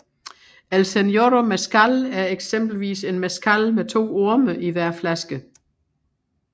El Señorio Mezcal er eksempelvis en mezcal med to orme i hver flaske